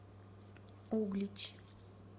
углич